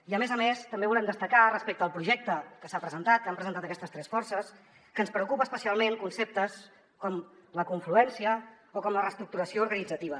i a més a més també volem destacar respecte al projecte que s’ha presentat que han presentat aquestes tres forces que ens preocupen especialment conceptes com la confluència o com la reestructuració organitzativa